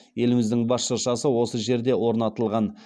еліміздің бас шыршасы осы жерде орнатылған